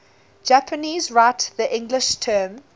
japanese write the english term